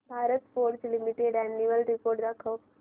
Bharat Forge limited annual report दाखव